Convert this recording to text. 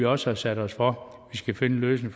også sat os for at finde en løsning